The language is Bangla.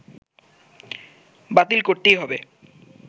বাতিল করতেই হবে